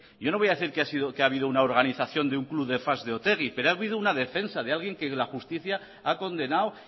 yo no voy a decir que ha habido una organización de un club de fans de otegi pero ha habido una defensa de alguien que la justicia ha condenado